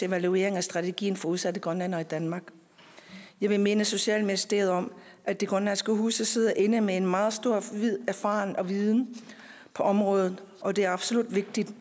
evaluering af strategien for udsatte grønlændere i danmark jeg vil minde socialministeren om at de grønlandske huse sidder inde med en meget stor erfaring og viden på området og det er absolut vigtigt